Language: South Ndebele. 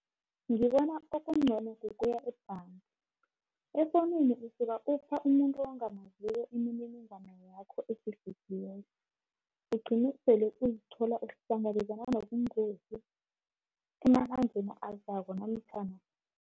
Ngibona okungcono ukuya ebhanga, efowunini usuka upha umuntu ongamaziko imininingwana yakho efihlekileko, ugcine sele uzithola uhlangabezana nobungozi emalangeni azako namtjhana